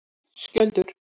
Skjöldur